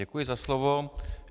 Děkuji za slovo.